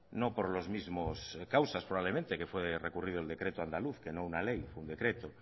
no por los mismos causas probablemente que fue recurrido el decreto andaluz que no una ley un decreto